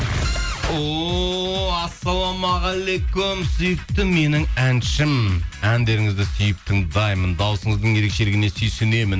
оу ассалаумағалейкум сүйікті менің әншім әндеріңізді сүйіп тыңдаймын дауысыңыздың ерекшелігіне сүйсінемін